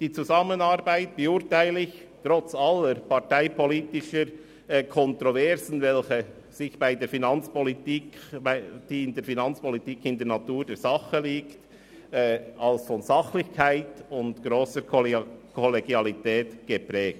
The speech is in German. Die Zusammenarbeit beurteile ich trotz aller parteipolitischen Kontroversen, die in der Finanzpolitik in der Natur der Sache liegen, als von Sachlichkeit und grosser Kollegialität geprägt.